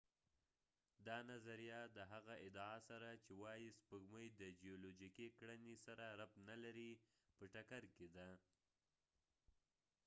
دا نظریه د هغه ادعا سره چې وایی سپوږمۍ د جیولوجیکی کړنې سره ربط نلري په ټکر کې ده